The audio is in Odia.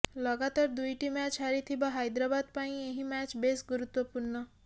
ଲଗାତର ଦୁଇଟି ମ୍ୟାଚ୍ ହାରିଥିବା ହାଇଦ୍ରାବାଦ ପାଇଁ ଏହି ମ୍ୟାଚ୍ ବେଶ୍ ଗୁରୁତ୍ୱପୂର୍ଣ୍ଣ